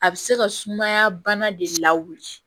A bɛ se ka sumaya bana de lawuli